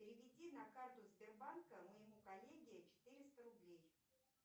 переведи на карту сбербанка моему коллеге четыреста рублей